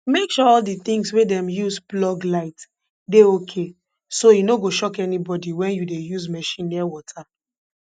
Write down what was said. make sure all di tins wey dem use plug light dey okay so e no go shock anybody wen you dey use machine near water